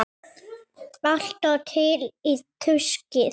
Alltaf til í tuskið.